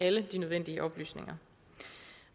alle de nødvendige oplysninger